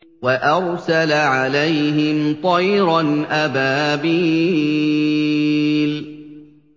وَأَرْسَلَ عَلَيْهِمْ طَيْرًا أَبَابِيلَ